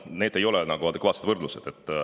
Need ei ole adekvaatsed võrdlused.